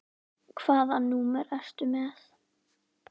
Hvaða númer ertu með?